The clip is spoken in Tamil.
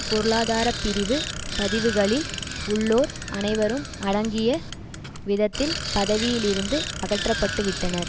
பொருளாதார பிரிவு பதவிகளில் உள்ளோர் அனைவரும் அடங்கிய விதத்தில் பதவியில் இருந்து அகற்றப்பட்டுவிட்டனர்